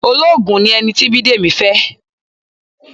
Ológun ni ẹni tí Bidemi fẹ́.